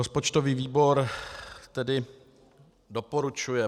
Rozpočtový výbor tedy doporučuje